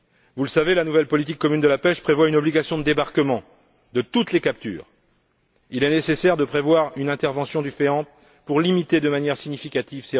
Vous le savez, la nouvelle politique commune de la pêche prévoit une obligation de débarquement de toutes les captures. Il est nécessaire de prévoir une intervention du FEAMP pour limiter ces rejets de manière significative.